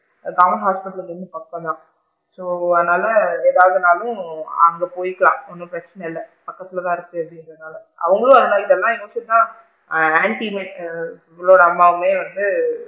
Government hospital இங்க இருந்து பக்கம் தான் so அதனால ஏதாவது நாலும் அங்க போயிக்கலாம் எதுவும் பிரச்சனை இல்ல பக்கத்துல தான் இருக்கு அப்படிங்க்ரனால அவுங்களும் இன்னைக்கு தான் ஆ இவ்வளோ நாளுமே வந்து,